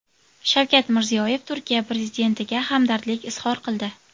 Shavkat Mirziyoyev Turkiya prezidentiga hamdardlik izhor qildi .